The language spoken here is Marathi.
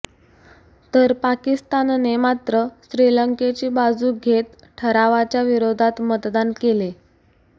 तर पाकिस्तानने मात्र श्रीलंकेची बाजू घेत ठरावाच्या विरोधात मतदान केले